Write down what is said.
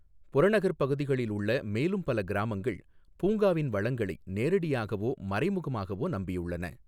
புறநகர் பகுதிகளில் உள்ள மேலும் பல கிராமங்கள் பூங்காவின் வளங்களை நேரடியாகவோ மறைமுகமாகவோ நம்பியுள்ளன.